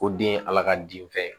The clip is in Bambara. Ko den ye ala ka den fɛn ye